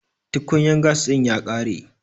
tukunyar gas din ya kare